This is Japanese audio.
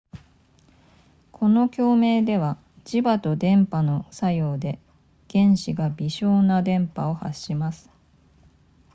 この共鳴では磁場と電波の作用で原子が微小な電波を発します